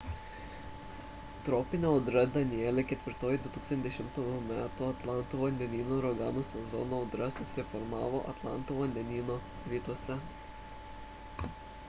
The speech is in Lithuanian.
tropinė audra danielle ketvirtoji 2010 m atlanto vandenyno uraganų sezono audra susiformavo atlanto vandenyno rytuose